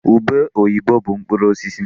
Ube oyibo bụ mkpụrụ osisi.